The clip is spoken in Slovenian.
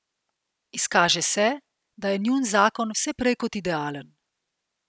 Izkaže se, da je njun zakon vse prej kot idealen.